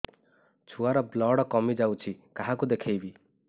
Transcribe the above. ଛୁଆ ର ବ୍ଲଡ଼ କମି ଯାଉଛି କାହାକୁ ଦେଖେଇବି